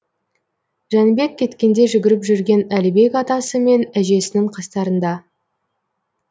жәнібек кеткенде жүгіріп жүрген әлібек атасы мен әжесінің қастарында